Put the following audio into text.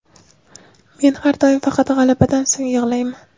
Men har doim faqat g‘alabadan so‘ng yig‘layman.